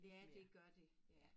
Ja det gør det ja